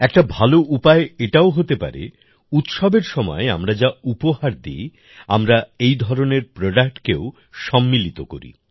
একটা ভালো উপায় এটাও হতে পারে উৎসবের সময় আমরা যা উপহার দিই আমরা এই ধরনের প্রডাক্টকেও সংমিলিত করি